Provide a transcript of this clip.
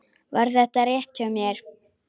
Var þetta rétt hjá mér?